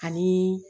Ani